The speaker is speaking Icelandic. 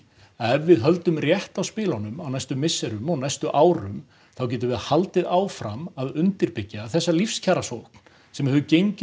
ef við höldum rétt á spilunum á næstu misserum og næstu árum þá getum við haldið áfram að undirbyggja þessa lífskjarasókn sem hefur gengið